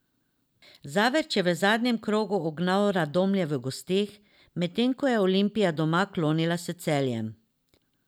Zavrč je v zadnjem krogu ugnal Radomlje v gosteh, medtem ko je Olimpija doma klonila s Celjem.